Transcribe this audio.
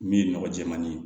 Min ye nɔgɔ jɛman ye